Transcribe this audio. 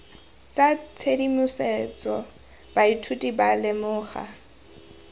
tsa tshedimosetso baithuti ba lemoga